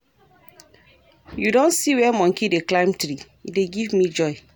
You don see where monkey dey climb tree? e dey give joy.